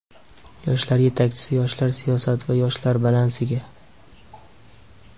yoshlar yetakchisi yoshlar siyosati va yoshlar balansiga;.